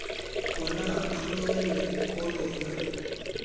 khona athunyelwe kolona